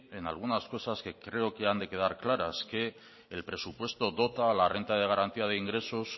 en algunas cosas que creo que han de quedar claras el presupuesto dota la renta de garantía de ingresos